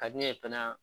Ka di ne ye fana